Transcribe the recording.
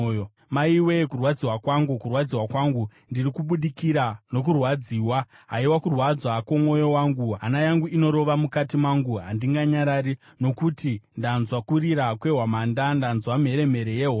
Maiwe, kurwadziwa kwangu, kurwadziwa kwangu! Ndiri kubidirika nokurwadziwa. Haiwa, kurwadza kwomwoyo wangu! Hana yangu inorova mukati mangu, handinganyarari. Nokuti ndanzwa kurira kwehwamanda; ndanzwa mheremhere yehondo.